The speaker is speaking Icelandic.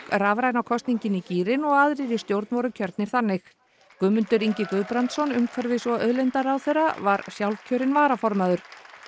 rafræna kosningin í gírinn og aðrir í stjórn voru kjörnir þannig Guðmundur Ingi Guðbrandsson umhverfis og auðlindaráðherra var sjálfkjörinn varaformaður